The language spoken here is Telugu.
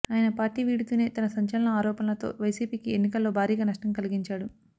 ఆయన పార్టీ వీడుతూనే తన సంచలన ఆరోపణలతో వైసీపీకి ఎన్నికల్లో భారీగా నష్టం కలిగించాడు